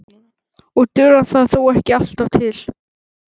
Og dugar það þó ekki alltaf til.